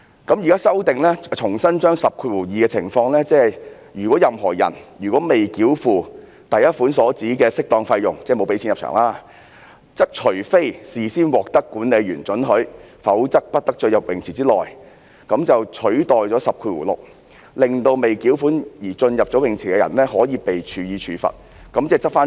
現時作出修訂，重新把第102條的情況，即如果有任何人未繳付第1款所指的適當費用——即是沒有繳付入場費——則除非事先獲得管理員准許，否則不得進入泳池場地範圍內，就是以此取代了第106條，令未繳款而進入泳池的人會被處罰，嚴正執法。